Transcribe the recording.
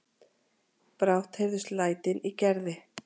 Brátt heyrðust lætin í Gerði.